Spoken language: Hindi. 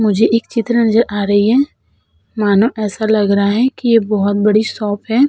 मुझे एक चित्र नजर आ रही है। मानो ऐसा लग रहा है कि ये बोहोत बड़ी शॉप है।